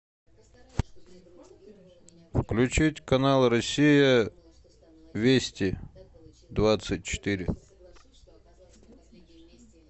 включить канал россия вести двадцать четыре